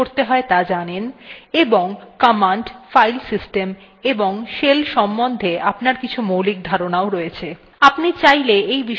আমরা ধরে নিচ্ছি যে আপনি linux operating systemswe কিভাবে কাজ শুরু করতে হয় ত়া জানেন এবং commands file systems এবং শেলের সম্বন্ধে আপনার কিছু মৌলিক ধারনাও রয়েছে